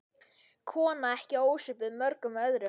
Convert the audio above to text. Kona ekki ósvipuð mörgum öðrum.